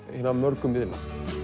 hinna mörgu miðla